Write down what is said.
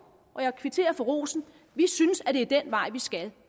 og jeg kvitterer for rosen vi synes at det er den vej vi skal